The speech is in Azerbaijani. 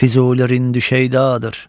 Füzuli rin düşeydadır.